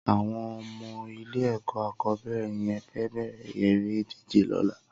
Awọn ọmọ ilé ẹkọ akọbẹrẹ yèn fè bẹrẹ éré idijé lọ̀là